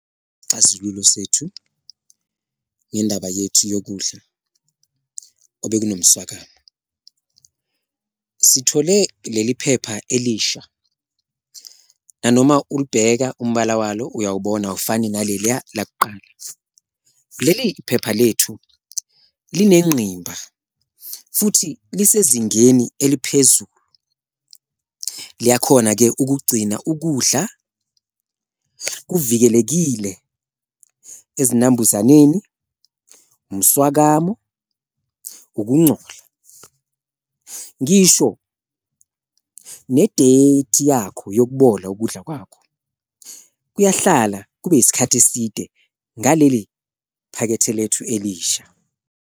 Isixazululo sethu ngendaba yethu yokudla obekunomswaolkamo, sithole leli phepha elisha nanoma ulibheka umbala walo uyawubona awufani naleliya lakuqala, leli iphepha lethu linenqimba futhi lisezingeni eliphezulu. Liyakhona-ke ukugcina ukudla kuvikelekile ezinambuzaneni, umswakamo, ukuncola, ngisho ne-date yakho yokuboleka ukudla kwakho, kuyahlala kube isikhathi eside ngaleli phakethe lethu elisha.